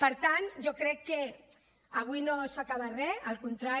per tant jo crec que avui no s’acaba re al contrari